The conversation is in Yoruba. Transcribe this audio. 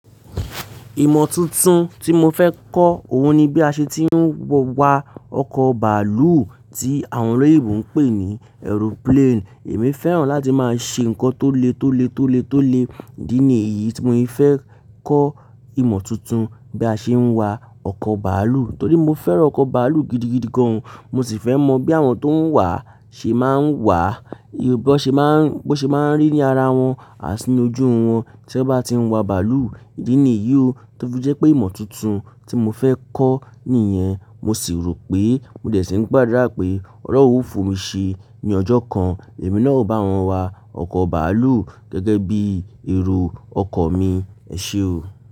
Ìmọ̀ tuntun tí mo fẹ́ kọ́, òhun ni bí a ṣe ti ń wọ wa ọkọ̀ bàálù tí àwọn olóyinbo ń pè ní aeroplane. Èmi fẹ́ràn láti máa ṣe nǹkan tó le, tó le, tó le, tó le. Ìdí nìyí tí mo se fẹ́ kọ́ ìmọ̀ tuntun, bí a ṣe ń wa ọkọ̀ bàálù. Torí mo fẹ́ràn ọkọ̀ bàálù gidigidi gan. Mo sì fẹ́ mọ bí àwọn tó ń wà ṣe máa ń wà, bí ó ṣe máa ń, bó ṣe máa ńrí ní ara wọn, àtí ni ojú wọn tí wọ́n bá ti ń wa bàálù. Ìdí nìyí ó tó fi jẹ́ pé ìmọ̀ tuntun tí mo fẹ́ kọ́ nìyẹn. Mo sì rò pé mo dẹ̀ sí ní gbadurá pé Ọlọ́run o fún mi ṣe ní ọjọ́ kan, èmi náà ó bá wọn wa ọkọ̀ bàálù gẹ́gẹ́ bí ẹro ọkan mi. Ẹ ṣe o.